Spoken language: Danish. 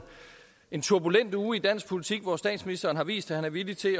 en turbulent uge i dansk politik hvor statsministeren har vist at han er villig til